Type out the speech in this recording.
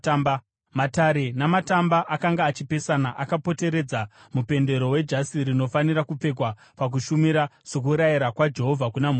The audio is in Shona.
Matare namatamba akanga achipesana akapoteredza mupendero wejasi rinofanira kupfekwa pakushumira, sokurayira kwaJehovha kuna Mozisi.